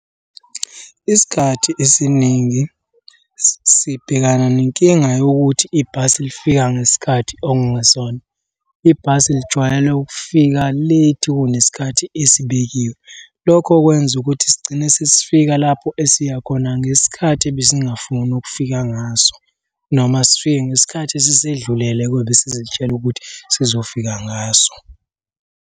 Isikhathi esiningi sibhekana nenkinga yokuthi ibhasi lifika ngesikhathi okungesona. Ibhasi lijwayele ukufika late kunesikhathi esibekiwe. Lokho kwenza ukuthi sigcine sesifika lapho esiya khona ngesikhathi ebesingafuni ukufika ngaso, noma sifike ngesikhathi esesedlulele kwebesizitshela ukuthi sizofika ngaso.